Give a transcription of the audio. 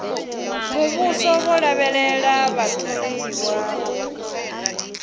muvhuso vho lavhelela vhatholiwa u